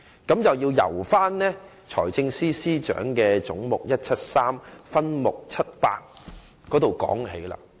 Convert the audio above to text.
這便要由財政司司長預算案中總目173的分目700說起。